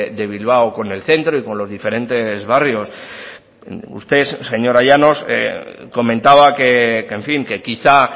de bilbao con el centro y con los diferentes barrios usted señora llanos comentaba que en fin que quizá